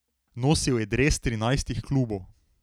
Nosil je dres trinajstih klubov.